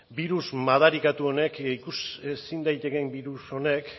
birus madarikatu honek ikus ezin daitekeen birus honek